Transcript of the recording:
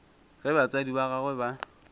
ge batswadi ba gagwe ba